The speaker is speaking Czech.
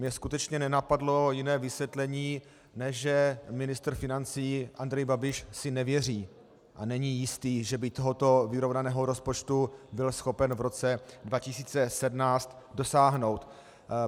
Mě skutečně nenapadlo jiné vysvětlení, než že ministr financí Andrej Babiš si nevěří a není jistý, že by tohoto vyrovnaného rozpočtu byl schopen v roce 2017 dosáhnout.